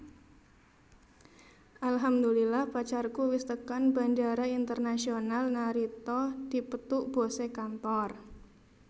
Alhamdulillah pacarku wis tekan Bandara Internaisonal Narita dipethuk bose kantor